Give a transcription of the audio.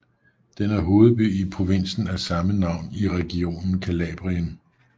Den er hovedby i provinsen af samme navn i regionen Calabrien